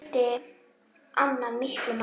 Þar skipti Anna miklu máli.